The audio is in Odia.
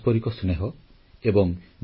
ଆଜି ସମଗ୍ର ଦେଶ ରକ୍ଷାବନ୍ଧନର ପର୍ବ ପାଳନ କରୁଛି